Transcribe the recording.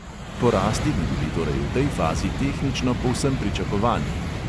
Porasti bi bili torej v tej fazi tehnično povsem pričakovani.